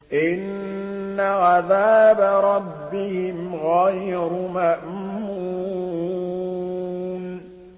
إِنَّ عَذَابَ رَبِّهِمْ غَيْرُ مَأْمُونٍ